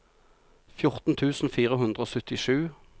fjorten tusen fire hundre og syttisju